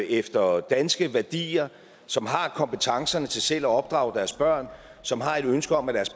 efter danske værdier som har kompetencerne til selv at opdrage deres børn og som har et ønske om at deres